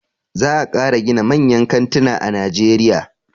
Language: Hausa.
Za a ƙara gina manyan kantina a najeriya.